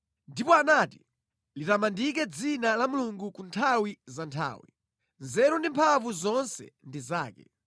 ndipo anati: “Litamandike dzina la Mulungu ku nthawi za nthawi; nzeru ndi mphamvu zonse ndi zake.